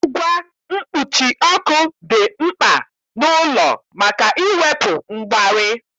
Ngwa mkpuchi ọkụ dị mkpa n'ụlọ maka iwepu mgbari